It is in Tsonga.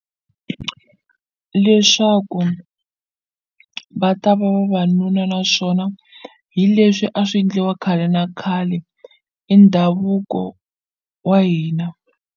Leswaku va ta va vavanuna naswona hi leswi a swi endliwa khale na khale i ndhavuko wa hina.